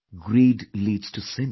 Greed leads to sin